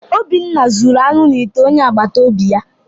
Obinna zuru anụ n’ite onye agbata obi ya